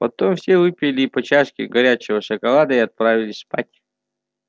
потом все выпили по чашке горячего шоколада и отправились спать